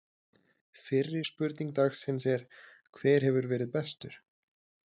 Fyrri spurning dagsins er: Hver hefur verið bestur?